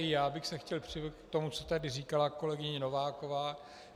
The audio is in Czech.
I já bych se chtěl připojit k tomu, co tady říkala kolegyně Nováková.